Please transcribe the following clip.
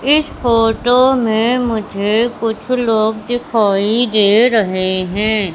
इस फोटो में मुझे कुछ लोग दिखाई दे रहे हैं।